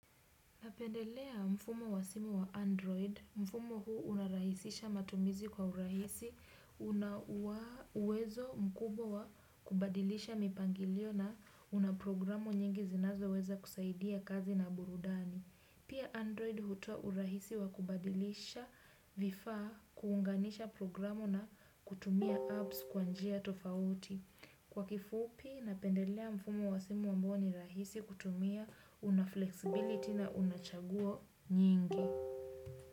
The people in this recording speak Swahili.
Napendelea mfumo wa simu wa Android. Mfumo huu unarahisisha matumizi kwa urahisi. Una uwezo mkubwa wa kubadilisha mipangilio na una programu nyingi zinazo weza kusaidia kazi na burudani. Pia Android hutoa urahisi wakubadilisha vifaa kuunganisha programu na kutumia apps kwa njia tofauti. Kwa kifupi, napendelea mfumo wa simu ambao ni rahisi kutumia unaflexibility na unachaguo nyingi.